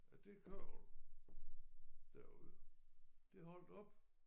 At det kørvel derude det holdt op